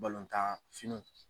tan finiw.